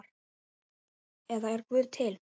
eða Er Guð til?